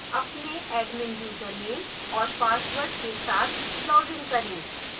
अपने admin username और password के साथ login करें